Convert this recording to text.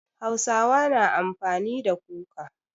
Hausawa na amfani da kuka.